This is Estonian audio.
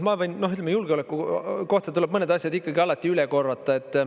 Ma võin, ütleme, julgeoleku kohta tuleb mõned asjad ikkagi alati üle korrata.